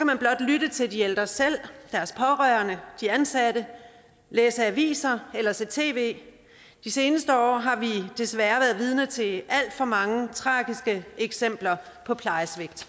man blot lytte til de ældre selv deres pårørende de ansatte læse aviser eller se tv de seneste år har vi desværre været vidne til alt for mange tragiske eksempler på plejesvigt